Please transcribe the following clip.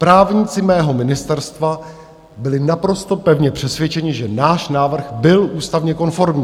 Právníci mého ministerstva byli naprosto pevně přesvědčeni, že náš návrh byl ústavně konformní.